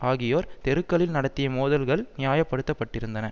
ஆகியோர் தெருக்களில் நடத்திய மோதல்கள் நியாயப்படுத்தப்பட்டிருந்தன